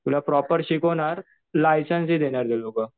तुला प्रॉपर शिकवणार लायसन्स ही देणार ते लोकं.